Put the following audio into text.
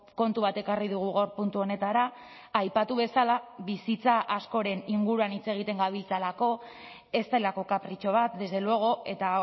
kontu bat ekarri dugu gaur puntu honetara aipatu bezala bizitza askoren inguruan hitz egiten gabiltzalako ez delako kapritxo bat desde luego eta